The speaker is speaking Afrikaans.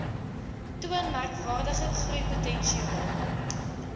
toon merkwaardige groeipotensiaal